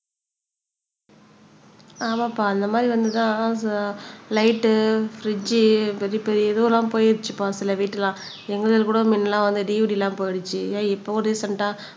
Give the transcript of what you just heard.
ஆமாப்பா அந்த மாதிரி வந்துதான் லைட் பிரிட்ஜ் பெரிய பெரிய இதுவெல்லாம் போயிருச்சுப்பா சில வீட்டுல எங்களுதுல கூட மின்னெல்லாம் வந்து DVT எல்லாம் போயிடுச்சு ஏ இப்பவும் ரீசென்ட்ட